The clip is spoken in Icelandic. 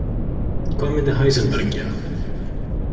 Hvað myndi Heisenberg gera?